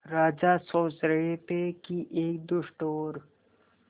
राजा सोच रहे थे कि एक दुष्ट और